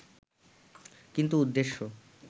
কিন্তু উদ্দেশ্য